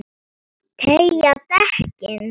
Tryggja dekkin?